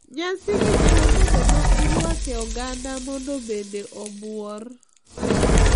Nyasi gi nyalo bedo ma irwake oganda mondo bende obuor.